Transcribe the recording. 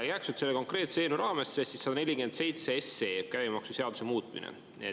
Jääks nüüd selle konkreetse eelnõu raamesse, see 147 SE, käibemaksuseaduse muutmine.